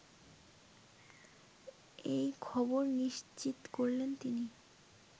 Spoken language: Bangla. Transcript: এই খবর নিশ্চিত করেন তিনি